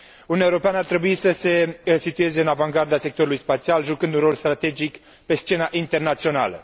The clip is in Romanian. Uniunea Europeană ar trebui să se situeze în avangarda sectorului spațial, jucând un rol strategic pe scena internațională.